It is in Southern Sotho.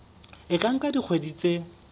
e ka nka dikgwedi tse